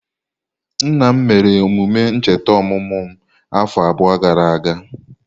Nna m mere emume ncheta ọmụmụ m afọ abụọ gara aga.